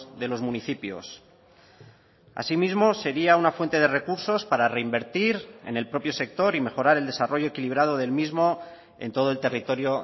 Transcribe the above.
de los municipios así mismo sería una fuente de recursos para reinvertir en el propio sector y mejorar el desarrollo equilibrado del mismo en todo el territorio